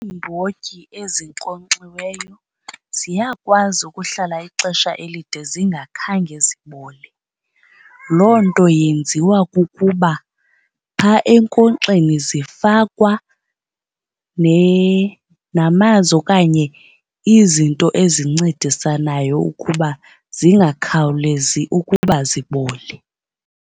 Iimbotyi ezinkonkxiweyo ziyakwazi ukuhlala ixesha elide zingakhange zibole. Loo nto yenziwa kukuba phaa enkonkxeni zifakwa namanzi okanye izinto ezincedisanayo ukuba zingakhawulezi ukuba zibole.